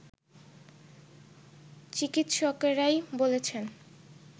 চিকিৎসকরাই বলেছেন